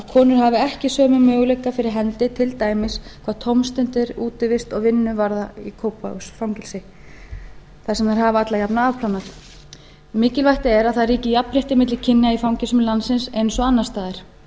konu hafi ekki möguleika fyrir hendi til dæmis hvað tómstundir útivist og vinnu varðar í kópavogsfangelsi þar sem þær hafa alla jafna afplánað mikilvæg er að það ríki jafnrétti milli kynja í fangelsum landsins eins og annars staðar og